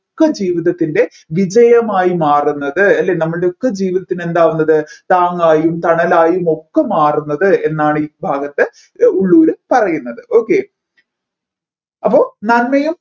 ഒക്കെ ജീവിതത്തിൻറെ വിജയമായി മാറുന്നത് അല്ലെ നമ്മൾടെ ഒക്കെ ജീവിതത്തിന് എന്താകുന്നത് താങ്ങായും തണലായും ഒക്കെ മാറുന്നത് എന്നാണ് ഈ ഭാഗത്ത് ഉള്ളൂർ പറയുന്നത് okay അപ്പോ നന്മയും